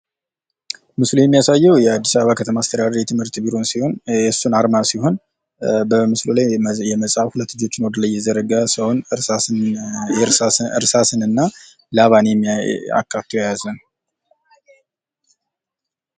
ሙስሊም ያሳየው የአዲስ አበባ ከተማ አስተዳደር የትምህርት ቢሮን ሲሆን የሱን አርማ ሲሆን በምስሉ ላይ የመጽሃፉን ሁለት ልጆቹን እየተረጋጋ ሲሆን እርሳስን እና ላባን አካቱ የያዘ ነዉ።